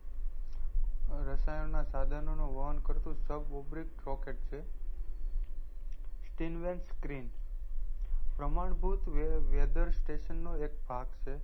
રસાણના સાઘનો નું વહન કરતુ sab obric rocket છે stillnessscreen પ્રમાણ ભૂત વેદન સ્ટેસન નો એક ભાગ છે